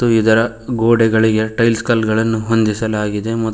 ಹಾಗೂ ಇದರ ಗೋಡೆಗಳಿಗೆ ಟೈಲ್ಸ್ ಕಲ್ಲುಗಳನ್ನು ಹೊಂದಿಸಲಾಗಿದೆ ಮತ್--